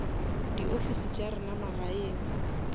di ofisi tša rena magaeng